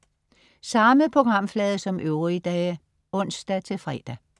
Samme programflade som øvrige dage (ons-fre)